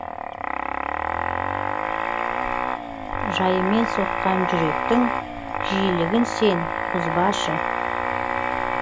жайымен соққан жүректін жиілігін сен бұзбашы